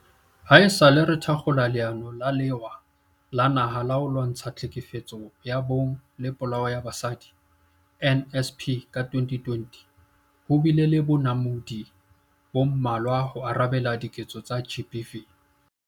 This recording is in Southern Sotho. Haesale re thakgola Leano la Lewa la Naha la ho Lwantsha Tlhekefetso ya Bong le Polao ya Basadi, NSP, ka 2020, ho bile le bonamodi bo mmalwa ho arabela diketso tsa GBV.